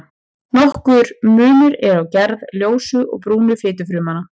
Nokkur munur er á gerð ljósu og brúnu fitufrumnanna.